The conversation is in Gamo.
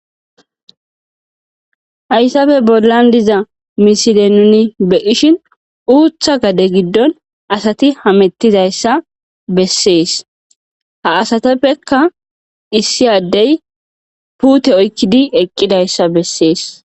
Hayssafe bollan diza miside nuni beyishin uutha gade giddon asati hamettizayssa bessees ha asateppekka issiyaddey puute oykkidi eqqidayssa bessees.